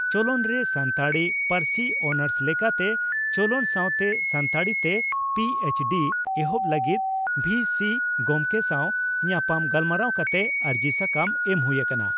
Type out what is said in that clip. ᱪᱚᱞᱚᱱᱨᱮ ᱥᱟᱱᱛᱟᱲᱤ ᱯᱟᱹᱨᱥᱤ ᱚᱱᱟᱨᱥ ᱞᱮᱠᱟᱛᱮ ᱪᱚᱞᱚᱱ ᱥᱟᱣᱛᱮ ᱥᱟᱱᱛᱟᱲᱤ ᱛᱮ ᱯᱤᱹᱮᱪᱹᱰᱤᱹ ᱮᱦᱚᱵ ᱞᱟᱹᱜᱤᱫ ᱵᱷᱤᱹᱥᱤ ᱜᱚᱢᱠᱮ ᱥᱟᱣ ᱧᱟᱯᱟᱢ ᱜᱟᱞᱢᱟᱨᱟᱣ ᱠᱟᱛᱮ ᱟᱹᱨᱡᱤ ᱥᱟᱠᱟᱢ ᱮᱢ ᱦᱩᱭ ᱟᱠᱟᱱᱟ ᱾